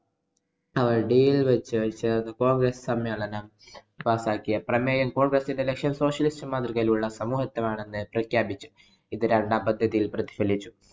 ആവഡിയില്‍ വച്ച് ചേര്‍ന്ന congress സമ്മേളനം പാസാക്കിയ പ്രമേയം congress ന്‍റെ ലക്ഷ്യം socialist മാതൃകയിലുള്ള ആണെന്ന് പ്രഖ്യാപിച്ചു. ഇത് രണ്ടാം പദ്ധതിയില്‍ പ്രതിഫലിച്ചു.